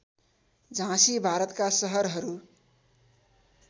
झाँसी भारतका सहरहरू